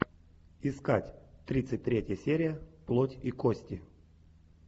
искать тридцать третья серия плоть и кости